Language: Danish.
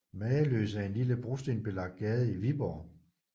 Mageløs er en lille brostensbelagt gade i Viborg